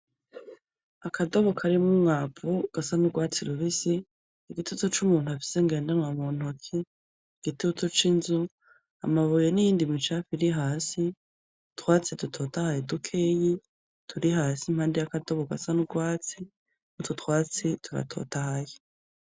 Akadobo karimwo umwavu gasa n'urwatsi rubisi, igitutu c'umuntu afise ngendanwa muntoki, igitutu c'inzu, amabuye n'iyindi micafu iri hasi, utwatsi dutotahaye dukeyi turi hasi impande y'akadobo gasa n'icatsi, utwo twatsi, turatotahaye.